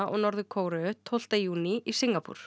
og Norður Kóreu tólfta júní í Singapúr